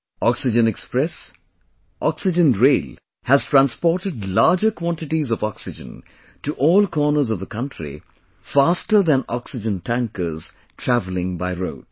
Oxygen Express, oxygen rail has transported larger quantities of oxygen to all corners of the country, faster than oxygen tankers travelling by road